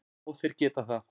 Já þeir geta það.